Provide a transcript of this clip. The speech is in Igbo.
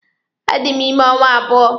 A dị m ime ọnwa abụọ.